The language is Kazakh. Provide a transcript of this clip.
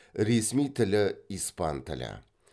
ресми тілі испан тілі